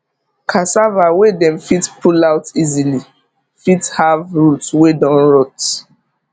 cassava wey dem fit pull out easily fit have root wey don rot